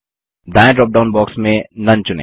दायें drop down box में none चुनें